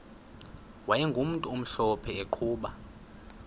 wayegumntu omhlophe eqhuba